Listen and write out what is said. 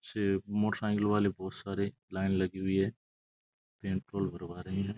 पीछे मोटर साइकिलों वाले बहुत सारे लाइन लगी हुई है पेट्रोल भरवा रहे है।